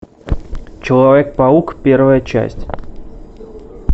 человек паук первая часть